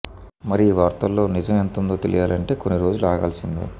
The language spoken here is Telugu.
మరి ఈ వార్తల్లో నిజం ఎంతుందో తెలియాలంటే కొన్ని రోజులు ఆగాల్సిందే